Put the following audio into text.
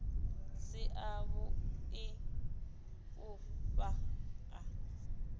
si a vhui u fhaa